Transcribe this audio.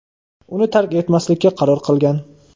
uni tark etmaslikka qaror qilgan.